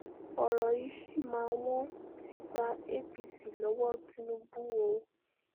ọ̀rọ̀ yìí ṣì máa wọ́n ti gba apc lọ́wọ́ tinubu o